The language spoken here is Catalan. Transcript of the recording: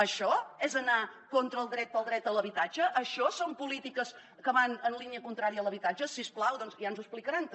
això és anar contra el dret a l’habitatge això són polítiques que van en línia contrària a l’habitatge si us plau doncs ja ens ho explicaran també